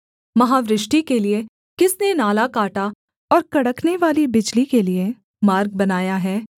महावृष्टि के लिये किसने नाला काटा और कड़कनेवाली बिजली के लिये मार्ग बनाया है